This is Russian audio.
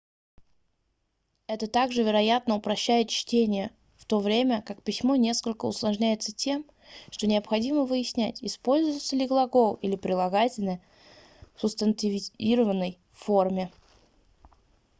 это также вероятно упрощает чтение в то время как письмо несколько усложняется тем что необходимо выяснять используется ли глагол или прилагательное в субстантивированной форме